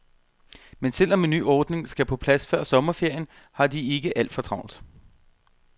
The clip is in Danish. Men selv om en ny ordning skal på plads før sommerferien, har de ikke alt for travlt.